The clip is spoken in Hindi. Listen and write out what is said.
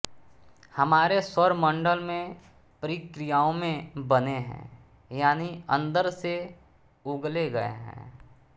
हमारे सौरमंडल में प्रक्रियाओं में बने हैं यानि अंदर से उगले गये हैं